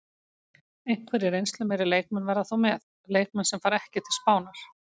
Einhverjir reynslumeiri leikmenn verða þó með, leikmenn sem fara ekki til Spánar.